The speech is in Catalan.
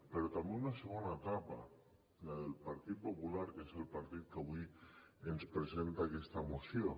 però també una segona etapa la del partit popular que és el partit que avui ens presenta aquesta moció